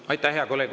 Aitäh, hea kolleeg!